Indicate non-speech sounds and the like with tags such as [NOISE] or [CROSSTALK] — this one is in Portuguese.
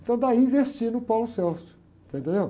Então daí investir no, [UNINTELLIGIBLE] você entendeu?